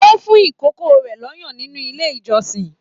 O fún ikòkò rẹ l'ọyan nínú ilé ìjọsìn.